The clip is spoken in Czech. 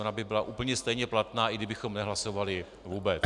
Ona by byla úplně stejně platná, i kdybychom nehlasovali vůbec.